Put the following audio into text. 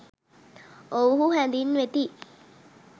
ඔවුහු හැඳින්වෙති.